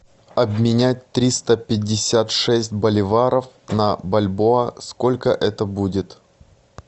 обменять триста пятьдесят шесть боливаров на бальбоа сколько это будет